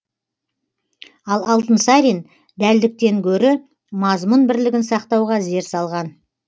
ал алтынсарин дәлдіктен гөрі мазмұн бірлігін сақтауға зер салған